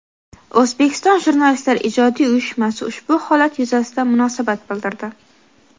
O‘zbekiston Jurnalistlari ijodiy uyushmasi ushbu holat yuzasidan munosabat bildirdi.